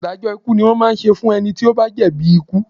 Ìdájọ́ ikú ni wọ́n máa ń ṣe fún ẹni tó bá jẹ̀bi ikú